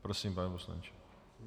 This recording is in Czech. Prosím, pane poslanče.